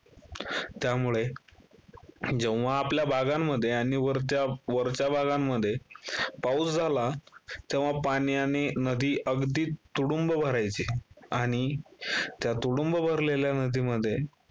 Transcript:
त्यामुळे, जेव्हा आपल्या भागांमध्ये आणि वरत्या~ वरच्या भागांमध्ये पाऊस झाला, तेव्हा पाणी आणि नदी अगदी तुडुंब भरायची आणि त्या तुडुंब भरलेल्या नदीमध्ये